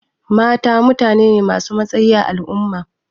Mata mutane ne ma su matsayi a al'umma